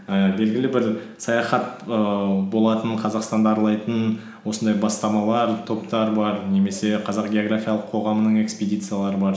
ііі белгілі бір саяхат ііі болатын қазақстанды аралайтын осындай бастамалар топтар бар немесе қазақ географиялық қоғамның экспедициялары бар